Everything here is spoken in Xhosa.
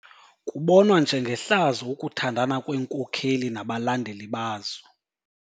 Kubonwa njengehlazo ukuthandana kweenkokeli nabalandeli bazo.